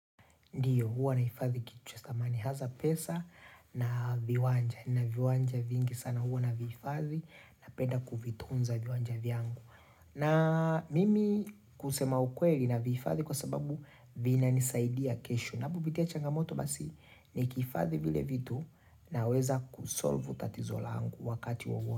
Ndiyo, huwa naifadhi kichwesta mani haza pesa na viwanja. Na viwanja vingi sana huwa na viifadhi na penda kuvitunza viwanja vyangu. Na mimi kusema ukweri na viifadhi kwa sababu vina nisaidia keshu. Nabubitia changamoto basi ni kifadhi vile vitu na weza kusolve utatizo langu wakati wawo.